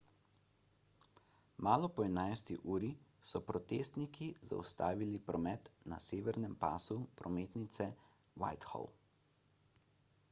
malo po 11 uri so protestniki zaustavili promet na severnem pasu prometnice whitehall